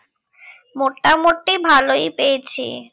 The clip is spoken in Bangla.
মোটামুটি ভালই পেয়েছি